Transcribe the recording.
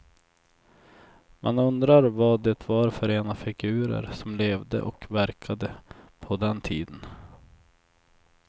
Man undrar vad det var för ena figurer som levde och verkade på den tiden.